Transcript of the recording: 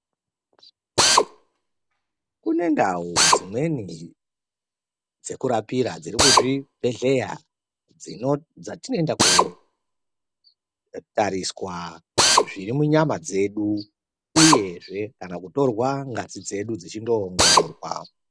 Kune ndau dzimweni dzekurapira dziri muzvibhedhlera dzatinoenda kootariswa zvirimunyama dzedu uyezve kana kutorwa ngazi dzedu dzichi ndoongororwa.